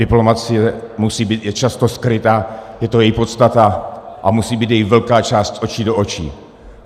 Diplomacie je často skrytá, je to její podstata, a musí být její velká část z očí do očí.